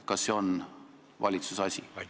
Kas see on valitsuse asi?